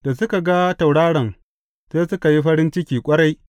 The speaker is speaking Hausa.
Da suka ga tauraron, sai suka yi farin ciki ƙwarai.